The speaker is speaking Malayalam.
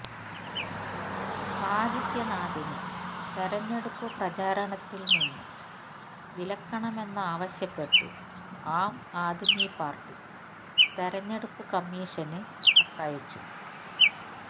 ആദിത്യനാഥിനെ തെരഞ്ഞെടുപ്പ് പ്രചരണത്തില് നിന്ന് വിലക്കണമെന്നാവശ്യപ്പെട്ട് ആം ആദ്മി പാര്ട്ടി തെരഞ്ഞെടുപ്പ് കമ്മീഷന് കത്തയച്ചു